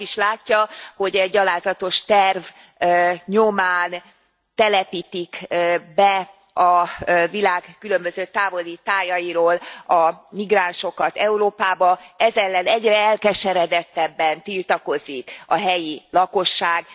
Ugye a vak is látja, hogy e gyalázatos terv nyomán telepítik be a világ különböző távoli tájairól a migránsokat Európába, ez ellen egyre elkeseredettebben tiltakozik a helyi lakosság.